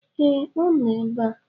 Ee, ọ nọ ebe a